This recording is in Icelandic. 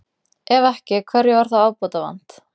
Ef ekki, hverju var þá ábótavant?